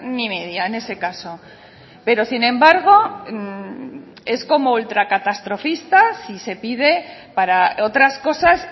ni media en ese caso pero sin embargo es como ultracatastrofista si se pide para otras cosas